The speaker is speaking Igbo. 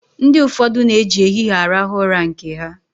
Ndi ụfọdụ na-eji ehihie arahụ ụra nke ha.